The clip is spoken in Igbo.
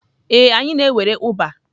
Ee, anyị na-ewere Uber.